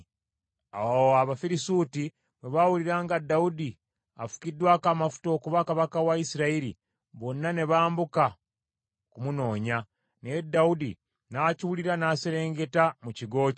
Awo Abafirisuuti bwe baawulira nga Dawudi afukiddwako amafuta okuba kabaka wa Isirayiri, bonna ne bambuka okumunoonya, naye Dawudi n’akiwulira n’aserengeta mu kigo kye.